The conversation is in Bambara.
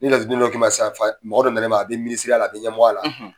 Ni laturuden dɔ k'i ma sisan mɔgɔ dɔ na na i ma a bɛ minisiriya la a bɛ ɲɛmɔgɔya la.